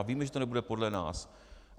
A víme, že to nebude podle nás.